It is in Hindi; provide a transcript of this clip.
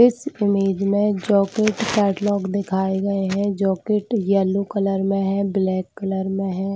इस इमेज मे जॉकेट कैटलॉक दिखाए गए है जॉकेट येलो कलर में है ब्लैक कलर में है।